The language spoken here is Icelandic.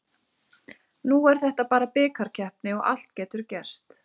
Nú er þetta bara bikarkeppni og allt getur gerst.